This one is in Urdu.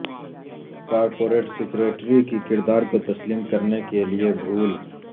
کارپوریٹ سکریٹری کی کردار کو تسلیم کرنے کے لئے بھول